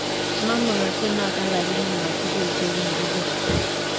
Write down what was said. Memugaksei notok iakini ma tugul che kikiker.